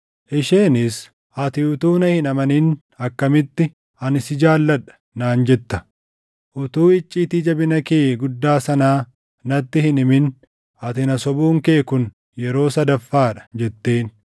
Isheenis, “Ati utuu na hin amanin akkamitti, ‘Ani si jaalladha’ naan jetta? Utuu icciitii jabina kee guddaa sanaa natti hin himin, ati na sobuun kee kun yeroo sadaffaa dha” jetteen.